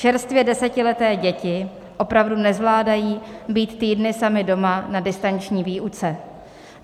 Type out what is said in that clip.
Čerstvě desetileté děti opravdu nezvládají být týdny samy doma na distanční výuce.